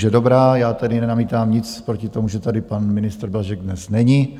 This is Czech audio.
Nuže dobrá, já tedy nenamítám nic proti tomu, že tady pan ministr Blažek dnes není,